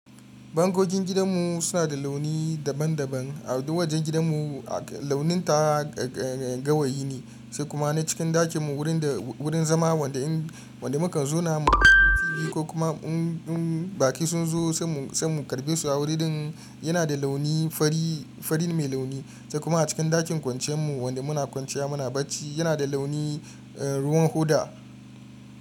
Bangojin gidanmu suna da launi daban-daban. A tawajen gidanmu launin ta gawayi ne, sai kuma na cikin ɗakin mu wurin da wurin zama wanda in wanda mukan zauna mu kulla TV ko kuma in baƙi sun zo sai mu sai mu karɓe su a wurin din yana da launi fari fari mai launi sai kuma a cikin ɗakin kwanciyar mu wanda muna kwanciya muna bacci yana da launi ruwan hoda.